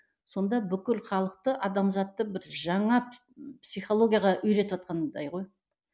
сонда бүкіл халықты адамзатты бір жаңа психологияға үйретіватқандай ғой